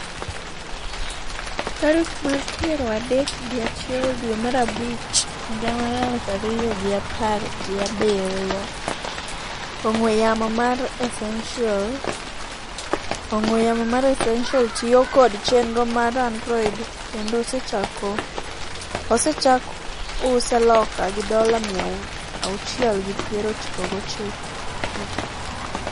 tarik mar piero adek gi achiel dwe mar abich higa mar aluf ariyo gi apar gi abiriyo .Ong'we yamo mar Essential. Ong'we yamo mar Essential tiyo kod chenro mar Android kendo osechak use loka gi dola miya auchiel gi piero chiko gochiko